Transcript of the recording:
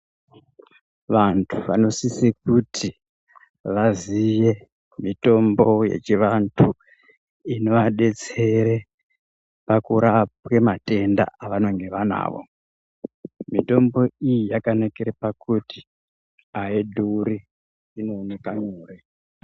Vantu vanosise kuti vaziye mutombo yevhivantu inovadetsere pakurapwe matenda avanenge vanawo mutombo iyi yakanakire kuti aidhuri inowoneka nyore.